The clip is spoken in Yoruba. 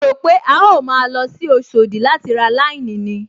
Mo rò pé a ó máa lọ sí Oṣòdì láti ra láíníìnì